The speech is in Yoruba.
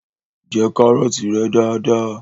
Jẹ kárọ̀tí rẹ dada!